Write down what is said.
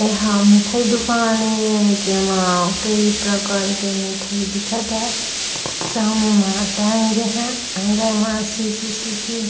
यहाँ मिठाई दुकान हे जेमा जेमे कई प्रकार के मिठाई दिखत है सामने म टाँगे हैं म सी सी सी--